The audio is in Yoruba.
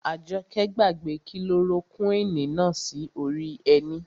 Àjọkẹ́ gbàgbé kilorokúwìnì náà sí orí ẹní